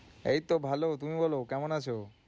এই তো ভালো, তুমি বলো কেমন আছো?